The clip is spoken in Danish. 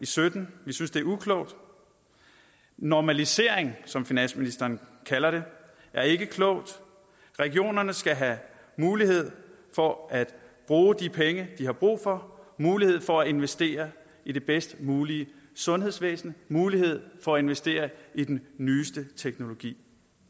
sytten vi synes det er uklogt normalisering som finansministeren kalder det er ikke klogt regionerne skal have mulighed for at bruge de penge de har brug for mulighed for at investere i det bedst mulige sundhedsvæsen mulighed for investeringer i den nyeste teknologi